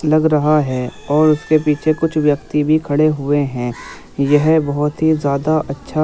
लग रहा है और उसके पीछे कुछ व्यक्ति भी खड़े हुए हैं यह बहुत ही ज्यादा अच्छा --